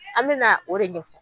An mɛna o de ɲɛfɔ.